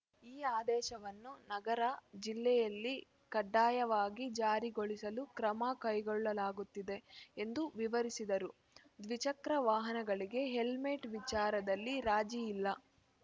ಈ ಆದೇಶವನ್ನು ನಗರ ಜಿಲ್ಲೆಯಲ್ಲಿ ಕಡ್ಡಾಯವಾಗಿ ಜಾರಿಗೊಳಿಸಲು ಕ್ರಮ ಕೈಗೊಳ್ಳಲಾಗುತ್ತಿದೆ ಎಂದು ವಿವರಿಸಿದರು ದ್ವಿಚಕ್ರ ವಾಹನಗಳಿಗೆ ಹೆಲ್ಮೆಟ್‌ ವಿಚಾರದಲ್ಲಿ ರಾಜಿ ಇಲ್ಲ